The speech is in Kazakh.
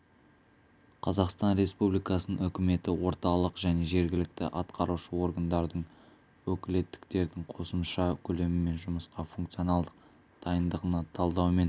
қазақстан республикасының үкіметі орталық және жергілікті атқарушы органдардың өкілеттіктердің қосымша көлемімен жұмысқа функционалдық дайындығына талдау мен